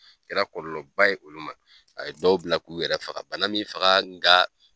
A kɛra kɔlɔlɔ ba ye olu man a ye dɔw bila k'o yɛrɛ faga bana min faga nga